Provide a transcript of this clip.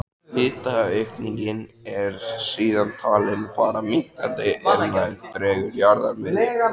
Hitaaukningin er síðan talin fara minnkandi er nær dregur jarðarmiðju.